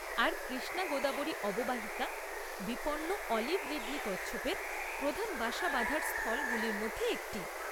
আর কৃষ্ণা গোদাবরী অববাহিকা বিপন্ন olive ridley কচ্ছপের প্রধান বাসা বাঁধার স্থলগুলোর মধ্যে একটি।